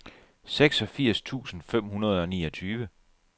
seksogfirs tusind fem hundrede og niogtyve